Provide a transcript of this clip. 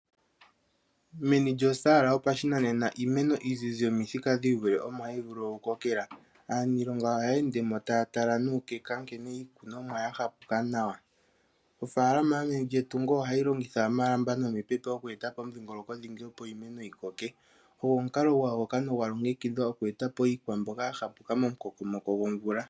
Meni lyosala yopashinanena iimeno iizizi yomithika dhiivule, omo hayi vulu okukokela. Aaniilonga ohaya ende mo taya tala nuukeka nkene iikunomwa ya hapa nawa. Ofaalama yo meni lyetungo ohayi longitha omalamba nomipepo okweeta po omudhingoloko dhingi, opo iimeno yikoke. Ogwo omukalo gwa yuka nogwa longekidhwa oku eta po iikwamboga ya hapuka momukokomoko gomvula.